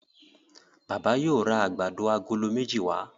Bàbá yóò rá àgbàdo Àgòló méjì wa.